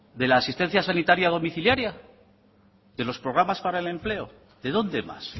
de la asistencia sanitaria domiciliaria de los programas para el empleo de dónde más